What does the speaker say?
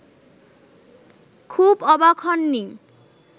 খুব অবাক হননি